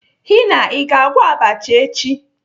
Henna l, Ị ga-agwọ abacha echi?